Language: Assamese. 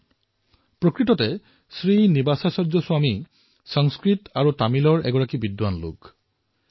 দৰাচলতে শ্ৰী নিবাসাচাৰ্য স্বামীজী সংস্কৃত আৰু তামিলৰ বিদ্বান পুৰুষ